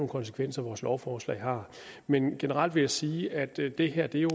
konsekvenser vores lovforslag har men generelt vil jeg sige at det det her jo